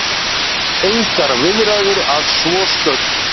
Engar viðræður að svo stöddu